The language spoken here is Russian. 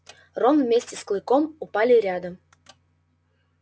рон вместе с клыком упали рядом